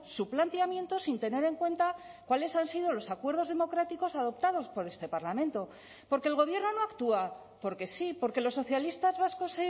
su planteamiento sin tener en cuenta cuáles han sido los acuerdos democráticos adoptados por este parlamento porque el gobierno no actúa porque sí porque los socialistas vascos